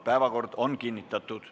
Päevakord on kinnitatud.